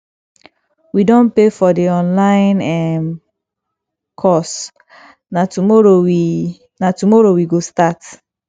we don pay for the online um course na tomorrow we na tomorrow we go start